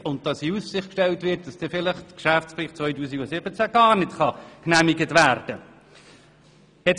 Weiter wurde in Aussicht gestellt, dass der Geschäftsbericht 2017 gar nicht genehmigt werden könne.